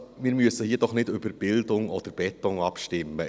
Wir müssen hier doch nicht über Bildung oder Beton abstimmen!